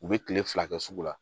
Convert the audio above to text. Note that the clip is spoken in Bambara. U bɛ kile fila kɛ sugu la